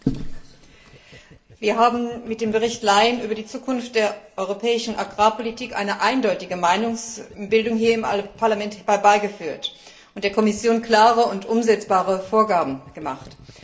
Herr Präsident! Wir haben mit dem Bericht Lyon über die Zukunft der Europäischen Agrarpolitik eine eindeutige Meinungsbildung hier im Parlament herbeigeführt und der Kommission klare und umsetzbare Vorgaben gemacht.